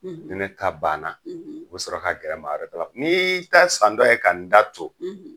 Ni na ta banna o bɛ sɔrɔ ka gɛrɛ maa wɛrɛtala, n'iii ta san tɔ ye' ka n da to?